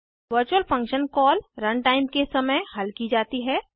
virtual function call run time के समय हल की जाती है